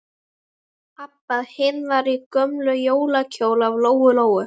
Abba hin var í gömlum jólakjól af Lóu-Lóu.